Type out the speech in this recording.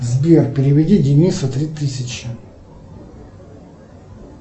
сбер переведи денису три тысячи